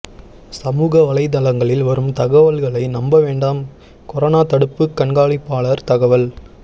சமூக வலைதளங்களில் வரும் தகவல்களை நம்ப வேண்டாம் கொரோனா தடுப்பு கண்காணிப்பாளர் தகவல்